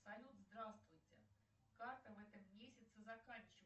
салют здравствуйте карта в этом месяце заканчивается